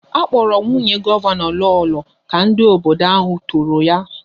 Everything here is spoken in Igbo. A kpọrọ nwunye gọvanọ Lolo ka ndị obodo ahụ toro ya